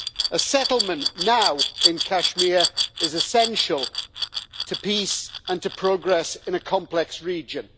A settlement now in Kashmir is essential to peace and to progress in a complex region.